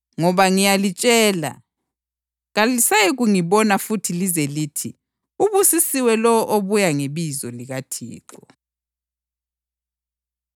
Ngoba ngiyalitshela, kalisayikungibona futhi lize lithi, ‘Ubusisiwe lowo obuya ngebizo likaThixo.’ + 23.39 AmaHubo 118.26 ”